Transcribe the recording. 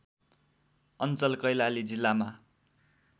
अञ्चल कैलाली जिल्लामा